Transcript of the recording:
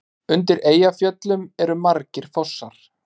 Undir Eyjafjöllum eru margir fossar.